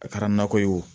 A kɛra nakɔ ye o